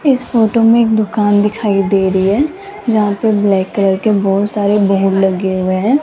इस फोटो में एक दुकान दिखाई दे रही है जहां पे ब्लैक कलर के बहोत सारे बोर्ड लगे हुए हैं।